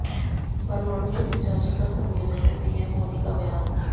परमाणु सुरक्षा शिखर सम्मेलन में पीएम मोदी का बयान